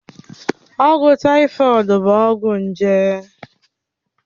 Ọgwụ tàífọ̀d bụ ọgwụ nje